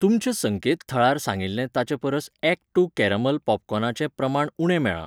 तुमच्या संकेतथळार सांगिल्लें ताचे परस ॲक्ट टू केरामेल पॉपकॉर्नाचें प्रमाण उणें मेळ्ळां.